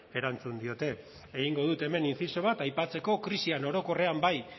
erantzun diote egingo dut hemen inziso bat aipatzeko krisian orokorrean bai